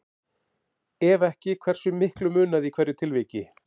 Ef ekki, hversu miklu munaði í hverju tilviki?